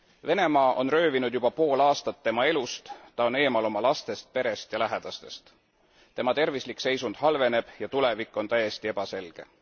Venemaa on röövinud juba pool aastat tema elust, ta on eemal oma lastest, perest ja lähedastest, tema tervislik seisund halveneb ja tulevik on täiesti ebaselge.